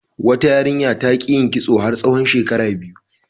Wata yarinya ta ƙi yin kitso har tsawon shekara biyu.